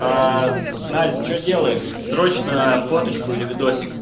насть что делаешь срочно фоточку или видосик